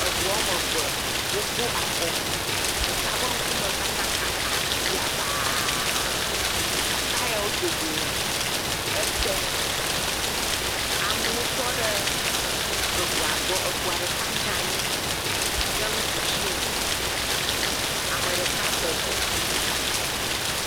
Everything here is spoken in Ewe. Eŋua me eve, wokpɔ afɔku, deka ƒe ŋkume kata kaka yabaaa. Taya wodo go le ete. Amewo tɔ ɖe eŋua gbɔ. Eŋua ɖeka dze anyi ɖe nuɖusi me. Ame ɖeka bɔbɔ.